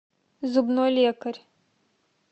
зубной лекарь